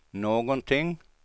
någonting